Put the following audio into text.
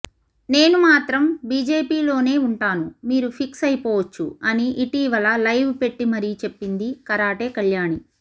నేను మాత్రం బీజేపీలోనే ఉంటాను మీరు ఫిక్స్ అయిపోవచ్చు అని ఇటీవల లైవ్ పెట్టి మరీ చెప్పింది కరాటే కళ్యాణి